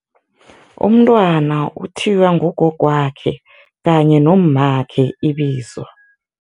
Umntwana uthiywa ngugogwakhe kanye nommakhe ibizo.